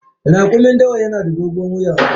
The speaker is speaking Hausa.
Rakumin dawa yanada dogon wuya.